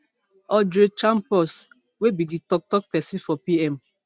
audrey champoux wey be di toktok pesin for pm